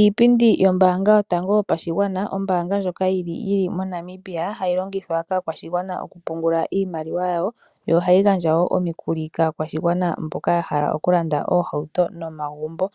Iipindi yombaanga yotango yopashigwana, Ombaanga ndjoka yili mo Namibia hayi longithwa kaakwashigwana oku pungula iimaliwa yawo yo ohayi gandja woo omikuli Kaakwashigwana mboka yahala okulanda oohauto nomagumbo.